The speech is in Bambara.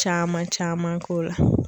Caman caman k'o la.